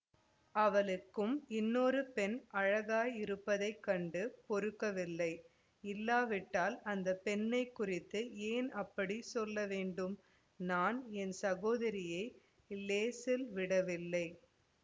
அவளுக்கும் இன்னொரு பெண் அழகாயிருப்பதைக் கண்டு பொறுக்கவில்லை இல்லாவிட்டால் அந்த பெண்ணை குறித்து ஏன் அப்படி சொல்ல வேண்டும் நான் என் சகோதரியை இலேசில் விடவில்லை